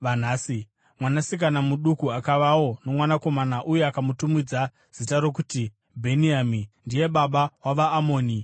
Mwanasikana muduku akavawo nomwanakomana, uye akamutumidza zita rokuti Bheni-Ami; ndiye baba wavaAmoni vanhasi.